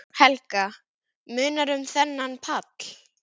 Helga: Munar um þennan pall?